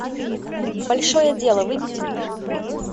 большое дело выведи мне